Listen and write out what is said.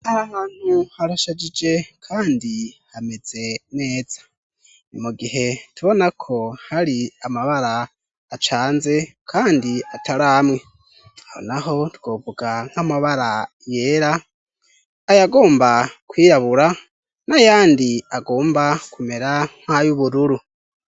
Aha hantu harashajije kandi hameze neza ni mugihe tubona ko hari amabara acanze kandi atari amwe aho naho twovuga nk' amabara yera ayagomba kwirabura nayandi agomba kumera nk' ayubururu.